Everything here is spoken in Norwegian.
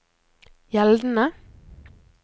gjeldende